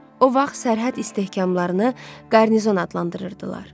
O vaxt sərhəd istehkamlarını qarnizon adlandırırdılar.